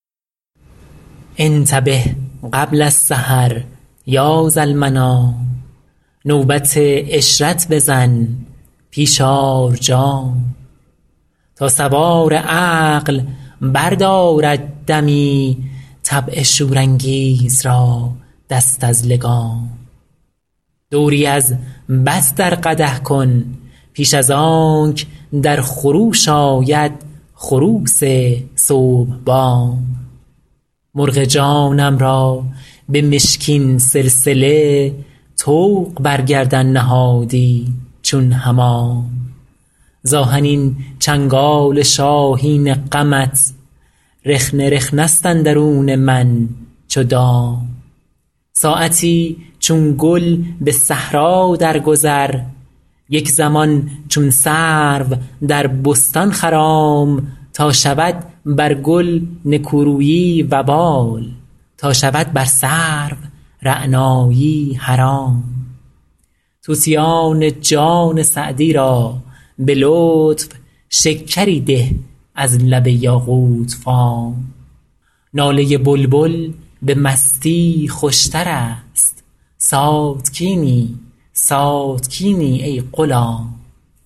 انتبه قبل السحر یا ذالمنام نوبت عشرت بزن پیش آر جام تا سوار عقل بردارد دمی طبع شورانگیز را دست از لگام دوری از بط در قدح کن پیش از آنک در خروش آید خروس صبح بام مرغ جانم را به مشکین سلسله طوق بر گردن نهادی چون حمام ز آهنین چنگال شاهین غمت رخنه رخنه ست اندرون من چو دام ساعتی چون گل به صحرا درگذر یک زمان چون سرو در بستان خرام تا شود بر گل نکورویی وبال تا شود بر سرو رعنایی حرام طوطیان جان سعدی را به لطف شکری ده از لب یاقوت فام ناله بلبل به مستی خوشتر است ساتکینی ساتکینی ای غلام